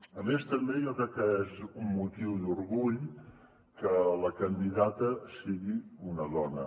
a més també jo crec que és un motiu d’orgull que la candidata sigui una dona